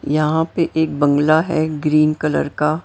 यहां पे एक बंगला है ग्रीन कलर का--